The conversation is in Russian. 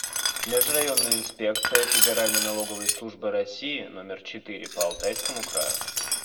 межрайонная инспекция федеральной налоговой службы россии номер четыре по алтайскому краю